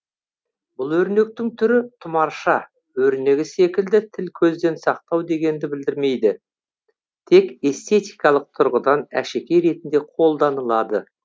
бұл өрнектің түрі тұмарша өрнегі секілді тіл көзден сақтау дегенді білдірмейді тек эстетикалық тұрғыдан әшекей ретінде қолданылады